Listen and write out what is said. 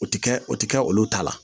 O ti kɛ o ti kɛ olu ta la